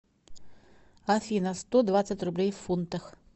афина сто двадцать рублей в фунтах